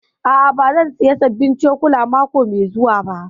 A'a, ba zan saya sabbin cokula mako mai zuwa ba